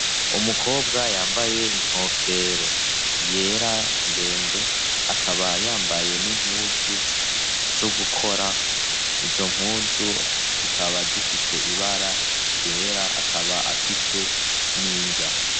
Umukobwa yambaye inkofero yera ndende akaba yambaye n'impuzu zo gukora ,izo mpuzu zikaba zifise ibara ryera akaba afise n'inrya.